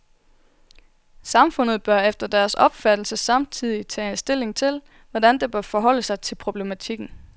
Samfundet bør efter deres opfattelse samtidig tage stilling til, hvordan det bør forholde sig til problematikken.